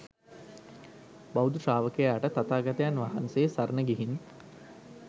බෞද්ධ ශ්‍රාවකයාට තථාගතයන් වහන්සේ සරණ ගිහින්